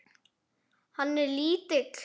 Hann er lítill.